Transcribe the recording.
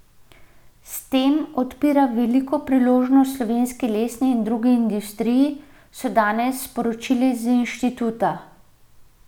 S tem odpira veliko priložnost slovenski lesni in drugi industriji, so danes sporočili z inštituta.